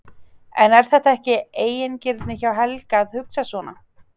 En er þetta ekki eigingirni hjá Helga að hugsa svona?